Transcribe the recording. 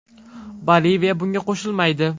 Boliviya bunga qo‘shilmaydi.